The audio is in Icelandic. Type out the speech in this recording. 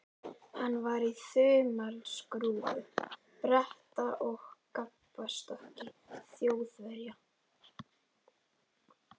Hann var í þumalskrúfu Breta og gapastokki Þjóðverja.